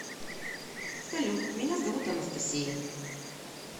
салют меня зовут анастасия